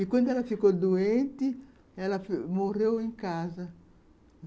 E, quando ela ficou doente, ela morreu lá em casa.